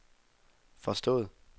forstået